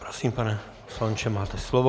Prosím, pane poslanče, máte slovo.